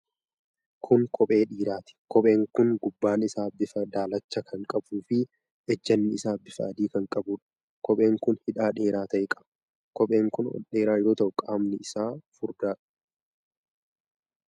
Kun kophee dhiiraati. Kopheen kun gubbaan isaa bifa daalachaa kan qabuu fi ejjanni isaa bifa adii kan qabuudha. Kopheen kun hidhaa dheeraa ta'e qaba. Qopheen kun ol dheeraa yoo ta'u, qaamni isaa furdaadha.